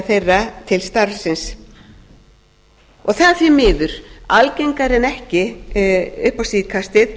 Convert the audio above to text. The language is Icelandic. þeirra til starfsins og það er því miður algengara en ekki upp á síðkastið